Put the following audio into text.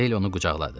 Rahil onu qucaqladı.